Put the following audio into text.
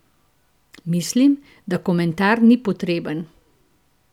Mislim, da komentar ni potreben!